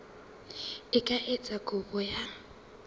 a ka etsa kopo ya